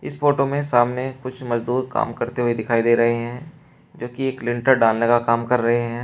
इस फोटो में सामने कुछ मजदूर काम करते हुए दिखाई दे रहे हैं क्योंकि एक लेंटर डालने का काम कर रहे हैं।